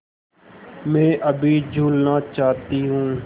मैं अभी झूलना चाहती हूँ